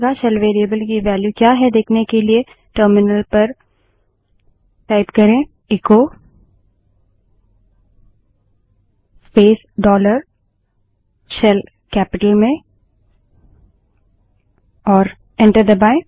shell variable की value क्या है देखने के लिए echo space dollar shell terminal पर echo space dollar shell capital में टाइप करें और एंटर दबायें